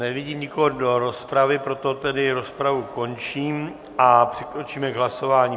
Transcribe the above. Nevidím nikoho do rozpravy, proto tedy rozpravu končím a přikročíme k hlasování.